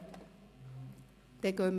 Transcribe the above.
– Dies ist nicht der Fall.